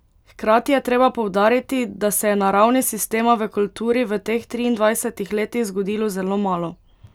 Hkrati je treba poudariti, da se je na ravni sistema v kulturi v teh triindvajsetih letih zgodilo zelo malo.